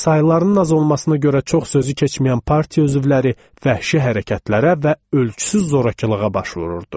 Sayılarının az olmasına görə çox sözü keçməyən partiya üzvləri vəhşi hərəkətlərə və ölçüsüz zorakılığa baş vururdu.